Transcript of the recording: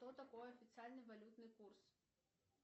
что такое официальный валютный курс